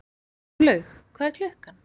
Gunnlaug, hvað er klukkan?